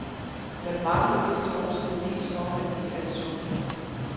Der mangler vist også bevis for, at de er sunde.